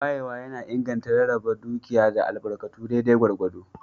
Wayewa na inganta rarraba dukiya da albarkatu daidai gwargwado.